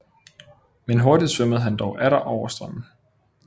Men hurtig svømmede han dog atter oven på strømmen